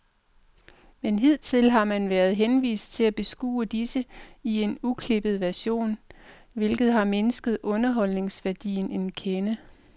Men hidtil har man været henvist til at beskue disse i en uklippet version, hvilket har mindsket underholdningsværdien en kende.